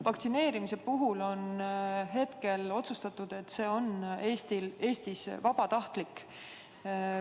Vaktsineerimise puhul on otsustatud, et see on Eestis vabatahtlik.